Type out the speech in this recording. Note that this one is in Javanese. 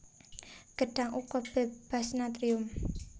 Gedhang uga bébas natrium